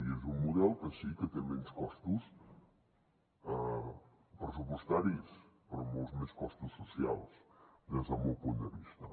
i és un model que sí que té menys costos pressupostaris però molts més costos socials des del meu punt de vista